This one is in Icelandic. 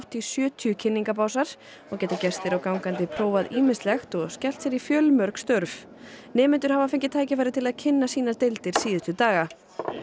í sjötíu og geta gestir og gangandi prófað ýmislegt og skellt sér í fjölmörg störf nemendur hafa fengið tækifæri til að kynna sínar deildir síðustu daga